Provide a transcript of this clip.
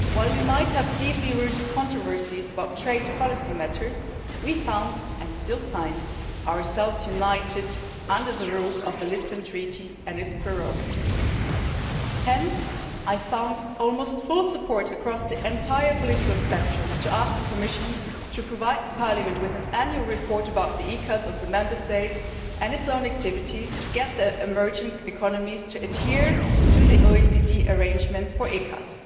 While we might have deeply rooted controversies about trade policy matters, we found and still find ourselves united under the roof of the Lisbon Treaty and its prerogatives. Hence, I found almost full support across the entire political spectrum to ask the Commission to provide Parliament with an annual report about the ECAs of the Member States, and on its own activities, so as to get the emerging economies to adhere to the OECD arrangements for ECAs.